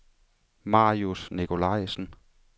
Marius Nikolajsen